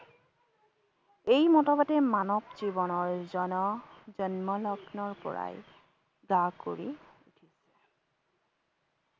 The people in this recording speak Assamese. এই মতবাদে মানৱ জীৱনৰ জন জন্ম লগ্নৰ পৰাই জা কৰি